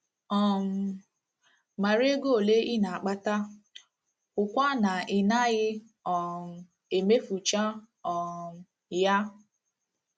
um Mara ego ole ị na - akpata, hụkwa na ị naghị um emefucha um ya